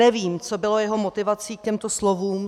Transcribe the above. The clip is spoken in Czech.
Nevím, co bylo jeho motivací k těmto slovům.